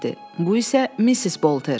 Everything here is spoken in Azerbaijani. Bu isə Missis Bolter.